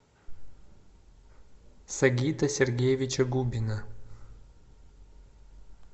сагита сергеевича губина